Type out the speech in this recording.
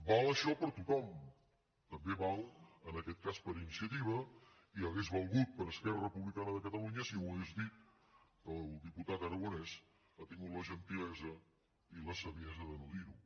val això per a tothom també val en aquest cas per a iniciativa i hauria valgut per a esquerra republicana de catalunya si ho hagués dit que el diputat aragonès ha tingut la gentilesa i la saviesa de no dir ho